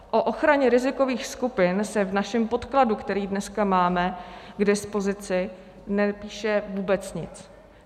O ochraně rizikových skupin se v našem podkladu, který dneska máme k dispozici, nepíše vůbec nic.